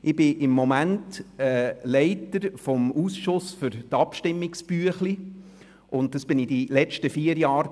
Ich bin im Moment Leiter des Ausschusses Abstimmungserläuterungen, und ich war es während den letzten vier Jahren.